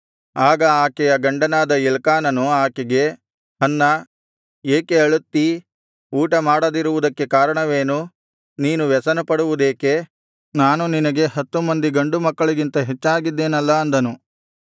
ಆಗ ಆಕೆಯ ಗಂಡನಾದ ಎಲ್ಕಾನನು ಆಕೆಗೆ ಹನ್ನಾ ಏಕೆ ಅಳುತ್ತೀ ಊಟ ಮಾಡದಿರುವುದಕ್ಕೆ ಕಾರಣವೇನು ನೀನು ವ್ಯಸನಪಡುವುದೇಕೆ ನಾನು ನಿನಗೆ ಹತ್ತು ಮಂದಿ ಗಂಡು ಮಕ್ಕಳಿಗಿಂತ ಹೆಚ್ಚಾಗಿದ್ದೇನಲ್ಲಾ ಅಂದನು